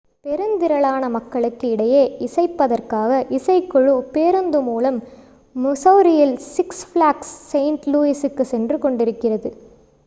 பெருந்திரளான மக்களுக்கு இடையே இசைப்பதற்காக இசைக்குழு பேருந்து மூலம் மிசௌரியில் six ஃப்ளாக்ஸ் செயின்ட் லூயிசுக்கு சென்று கொண்டிருந்தது